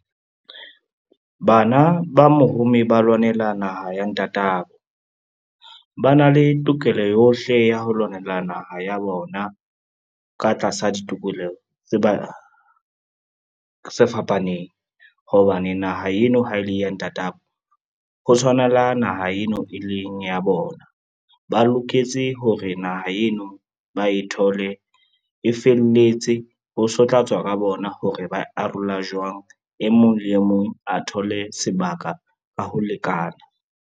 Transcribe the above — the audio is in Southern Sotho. Bana ba mohumi ba lwanela naha ya ntatabo, ba na le tokelo yohle ya ho lwanela naha ya bona ka tlasa ditokoleho tse fapaneng, hobane naha eno ha e le ya ntatabo, ho tshwanaa la naha eno e leng ya bona. Ba loketse hore naha eno ba e thole e felletse ho so tla tswa ka bona hore ba arola jwang, e mong le e mong a thole sebaka ka ho lekana.